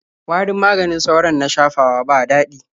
Warin maganin sauron na shafawa ba daɗi.